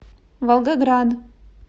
волгоград